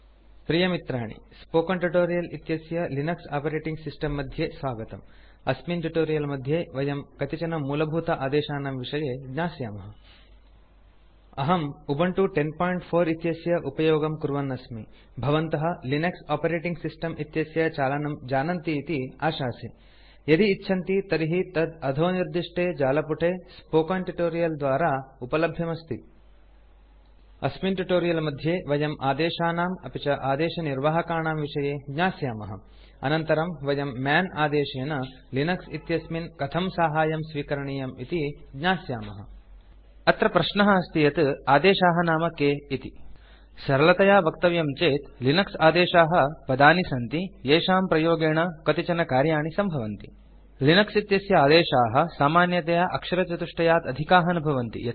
प्रिय मित्राणिspoken ट्यूटोरियल् इत्यस्य लिनक्स आपरेटिंग सिस्टम् मध्ये स्वागतम् अस्मिन् ट्यूटोरियल् मध्ये वयं कतिचनमूलभूत आदेशानां विषये ज्ञास्यामः अहं उबन्तु 1004 इत्यस्य उपयोगं कुर्वन् अस्मि भवन्तः लिनक्स ओपेटेटिंग सिस्टम् इत्यस्य चालनं जानन्ति इति आशासे यदि इच्छन्ति तर्हि तत् httpspoken tutorialorg इत्याख्ये जालपुटे स्पोकेन ट्यूटोरियल् द्वारा उपल्भ्यमस्ति अस्मिन् ट्यूटोरियल् मध्ये वयम् आदेशानाम् अपि च आदेशनिर्वाहकाणां विषये ज्ञास्यामः अनन्तरं वयं मन् आदेशेन लिनक्स इत्यस्मिन् कथं साहाय्यं स्वीकरणीयम् इति ज्ञास्यामः अत्र प्रश्नः अस्ति यत् आदेशाः नाम के इति सरलतया वक्तव्यं चेत् लिनक्स आदेशाः पदानि सन्ति येषाम् प्रयोगेण कतिचन कार्याणि सम्भवन्ति लिनक्स इत्यस्य आदेशाः सामान्यतया अक्षरचतुष्टयात् अधिकाः न भवन्ति